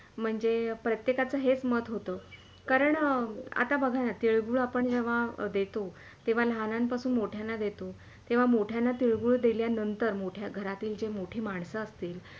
म्हणजे प्रत्येकाचे हेच मत होतं कारण आता बघा ण तिळगूळ आपण जेव्हा देतो तेव्हा लहानांपासून मोठयांना देतो तेव्हा मोठ्यांना तिळगूळ दिल्या नंतर घरातील जे मोठी माणस असतील